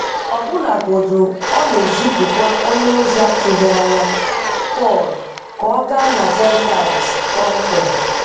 Ọbụnagodu ọ na-ezipukwa onye ozi atụghị anya, Pọl, ka ọ gaa na Gentiles kpọmkwem.